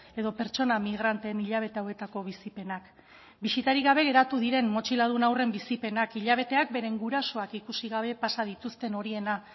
edo pertsona migranteen hilabete hauetako bizipenak bisitarik gabe geratu diren motxiladun haurren bizipenak hilabeteak beren gurasoak ikusi gabe pasa dituzten horiena